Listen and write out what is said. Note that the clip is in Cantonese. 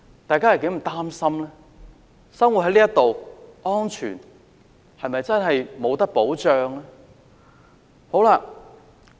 大家是多麼擔心，生活在這裏，安全是否真的無法保障呢？